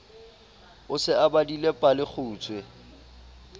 o se o badile palekgutshwe